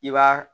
I b'a